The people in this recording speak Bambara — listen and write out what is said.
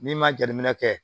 N'i ma jateminɛ kɛ